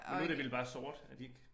Men nu det vel bare sort er de ikke